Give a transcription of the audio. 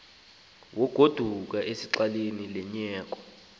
wagoduka esexhaleni lerneko